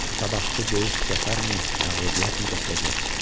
Sabahkı döyüş zəfərmi, məğlubiyyətmi gətirəcək?